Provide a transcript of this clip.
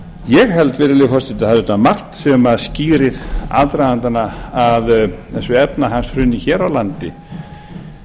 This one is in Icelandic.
ég held virðulegi forseti að það sé margt sem skýrir aðdragandann að þessu efnahagshruni hér á landi